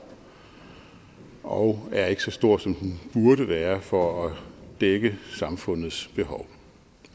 og er ikke så stor som den burde være for at dække samfundets behov